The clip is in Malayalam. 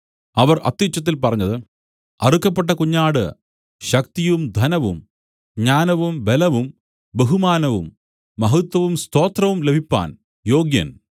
അവർ അത്യുച്ചത്തിൽ പറഞ്ഞത് അറുക്കപ്പെട്ട കുഞ്ഞാട് ശക്തിയും ധനവും ജ്ഞാനവും ബലവും ബഹുമാനവും മഹത്വവും സ്തോത്രവും ലഭിപ്പാൻ യോഗ്യൻ